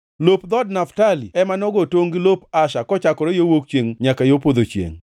Lop dhood Naftali ema nogo tongʼ gi lop Asher, kochakore yo wuok chiengʼ nyaka yo podho chiengʼ.